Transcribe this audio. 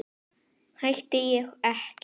Hætti ég ekki?